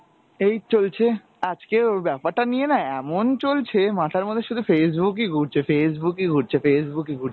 এই চলছে, আজকে ওর ব্যাপারটা নিয়েনা এমন চলছে মাথার মধ্যে শুধু Facebook ই ঘুরছে, Facebook ই ঘুরছে, Facebook ই ঘুরছে।